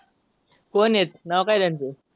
कोण आहेत नाव काय त्यांच.